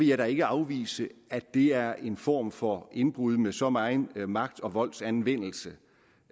jeg da ikke afvise at det er en form for indbrud med så megen magt og voldsanvendelse